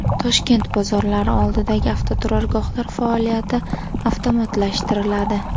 Toshkent bozorlari oldidagi avtoturargohlar faoliyati avtomatlashtiriladi.